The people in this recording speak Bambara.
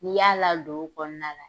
I y'a ladon o kɔnɔna la